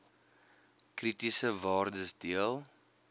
kritiese waardes deel